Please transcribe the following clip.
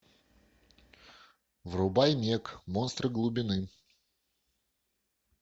врубай мег монстр глубины